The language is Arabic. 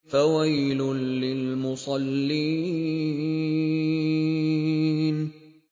فَوَيْلٌ لِّلْمُصَلِّينَ